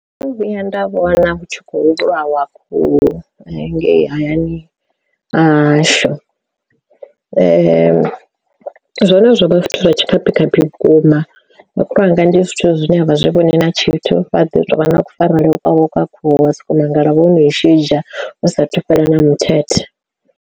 Ndo no vhuya nda vhona hu tshi khou vhulawa khuhu ngei hayani hahashu. Zwone zwovha zwithu zwa tshikhaphikhaphi vhukuma makhulu wanga ndi zwithu zwine a vha zwi vhoni na tshithu vha ḓo tou vha na kufarele kwa khuhu wa soko mangala vho no i shidzha hu sathu fhela na mithethe.